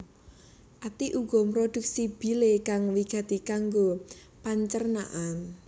Ati uga mrodhuksi bile kang wigati kanggo pancernan